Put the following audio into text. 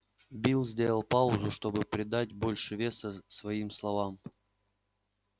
билл сделал паузу чтобы придать больше веса своим словам